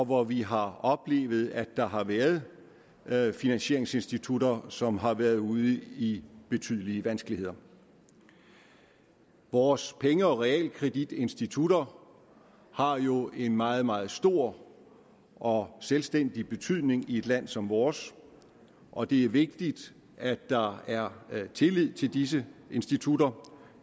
hvor vi har oplevet at der har været været finansieringsinstitutter som har været ude i betydelige vanskeligheder vores penge og realkreditinstitutter har jo en meget meget stor og selvstændig betydning i et land som vores og det er vigtigt at der er tillid til disse institutter